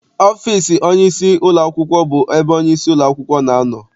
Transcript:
Ọfịịsi onyeisi ụlọakwụkwọ bụ ebe onyeisi ụlọakwụkwọ na-anọ.